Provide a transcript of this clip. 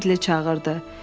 Bidli çağırdı.